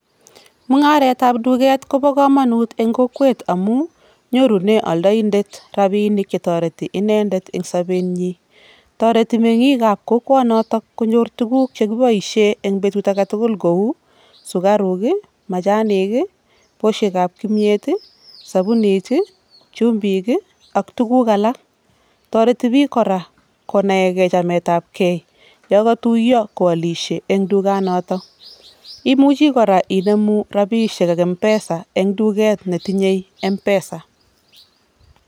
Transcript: mungaret ab duket kobo komonut eng kokwet amu nyorune aldaindet robinik che tareti inendet eng sobetnyi toreti mengik ab kokwok notok konyor tukuk chekiboisei eng betut aketugul kou sukaruk , majanik, poshek ab kimnyet, sobunit, chumbik ak tuguk alak. Toreti pik kora konae ke chamet ab kei ya katuyo koalishei eng duket notok imuchi kora inemu robishek ing [mpesa] eng duket ne tinye [mpesa]